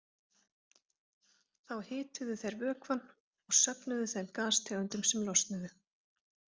Þá hituðu þeir vökvann og söfnuðu þeim gastegundum sem losnuðu.